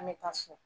An bɛ taa so